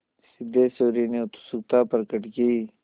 सिद्धेश्वरी ने उत्सुकता प्रकट की